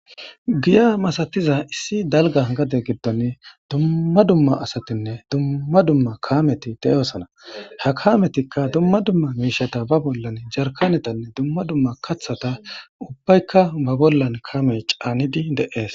Giya masatiza issi dalga gade giddon dumma dumma asatinne dumma dumma kaameti de7eosana ha kametikka dumma dumma miishata ba bollan jarkanetanne dumma dumma kathata ubbaykka ba bollan kamey caanidi deees.